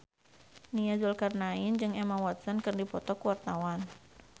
Nia Zulkarnaen jeung Emma Watson keur dipoto ku wartawan